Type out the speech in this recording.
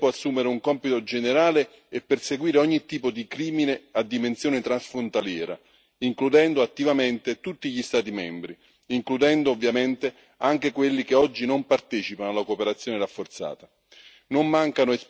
La Procura dovrà col tempo assumere un compito generale e perseguire ogni tipo di crimine a dimensione transfrontaliera, includendo attivamente tutti gli Stati membri, tra cui, ovviamente, anche quelli che oggi non partecipano alla cooperazione rafforzata.